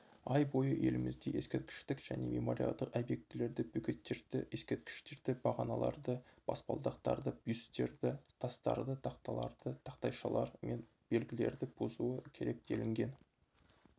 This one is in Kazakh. ай бойы елімізде ескерткіштік және мемориалдық объектілерді бөгеттерді ескерткіштерді бағаналарды баспалдақтарды бюстерді тастарды тақталарды тақтайшалар мен белгілерді бұзуы керек делінген